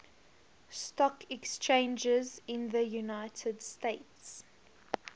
stock exchanges in the united states